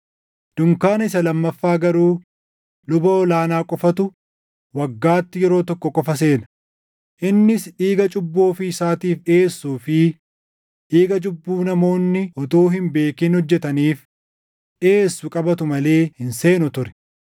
Dunkaana isa lammaffaa garuu luba ol aanaa qofatu waggaatti yeroo tokko qofa seena; innis dhiiga cubbuu ofii isaatiif dhiʼeessuu fi dhiiga cubbuu namoonni utuu hin beekin hojjetaniif dhiʼeessu qabatu malee hin seenu ture.